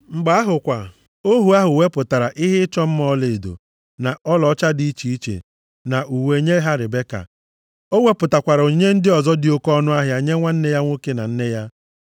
Mgbe ahụ kwa, ohu ahụ wepụtara ihe ịchọ mma ọlaedo, na ọlaọcha dị iche iche na uwe nye ha Ribeka. Ọ wepụtakwara onyinye ndị ọzọ dị oke ọnụahịa nye nwanne ya nwoke na nne ya.